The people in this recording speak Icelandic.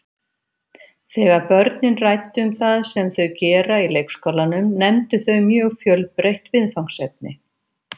Þegar börnin ræddu um það sem þau gera í leikskólanum nefndu þau mjög fjölbreytt viðfangsefni.